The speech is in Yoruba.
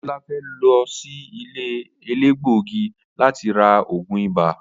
Abiola fe lo si ile elegbogi lati ra oogun ibà.